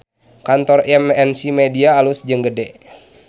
Kantor MNC Media alus jeung gede